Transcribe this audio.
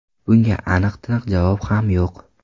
Bunga aniq-tiniq javob ham yo‘q.